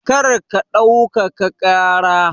Kar ka ɗaukaka ƙara!